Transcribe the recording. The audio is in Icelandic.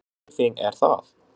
Hvernig tilfinning er það?